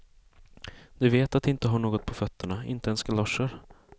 De vet att de inte har något på fötterna, inte ens galoscher.